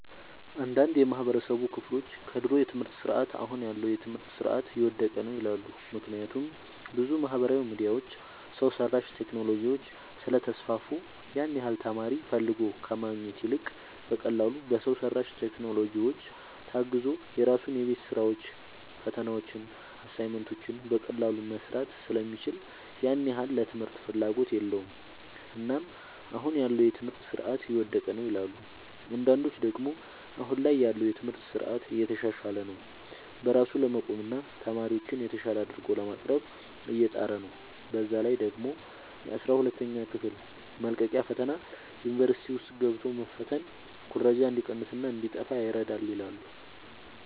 አንዳንድ የማህበረሰቡ ክፍሎች ከድሮ የትምህርት ስርዓት አሁን ያለው የትምህርት ስርዓት የወደቀ ነው ይላሉ። ምክንያቱም ብዙ ማህበራዊ ሚዲያዎች፣ ሰው ሰራሽ ቴክኖሎጂዎች ስለተስፋፉ ያን ያህል ተማሪ ፈልጎ ከማግኘት ይልቅ በቀላሉ በሰው ሰራሽ ቴክኖሎጂዎች ታግዞ የራሱን የቤት ስራዎችን፣ ፈተናዎችን፣ አሳይመንቶችን በቀላሉ መስራት ስለሚችል ያን ያህል ለትምህርት ፍላጎት የለውም። እናም አሁን ያለው የትምህርት ስርዓት የወደቀ ነው ይላሉ። አንዳንዶች ደግሞ አሁን ላይ ያለው የትምህርት ስርዓት እየተሻሻለ ነው። በራሱ ለመቆምና ተማሪዎችን የተሻለ አድርጎ ለማቅረብ እየጣረ ነው። በዛ ላይ ደግሞ የአስራ ሁለተኛ ክፍል መልቀቂያ ፈተና ዩኒቨርሲቲ ውስጥ ገብቶ መፈተን ኩረጃ እንዲቀንስና እንዲጣፋ ይረዳል ይላሉ።